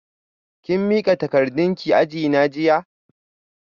Kin mika takardarki a ajina jiya?